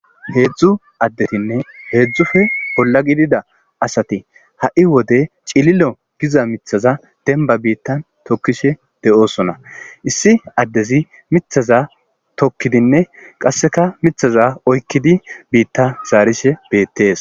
heedzdzu addetinne heedzdzufe bolla gidida asati ha7i wode cililo giza mithaza demba biitta tokkishe be7oosona issi addezi mithaza tokkidinne qasseka mithaza oykkidi biitta zaarishe beettees